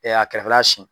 a kɛrɛfɛla siyɛn